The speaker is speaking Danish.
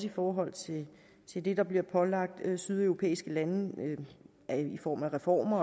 i forhold til til det der bliver pålagt sydeuropæiske lande i form af reformer